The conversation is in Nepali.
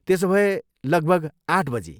त्यसोभए, लगभग आठ बजी?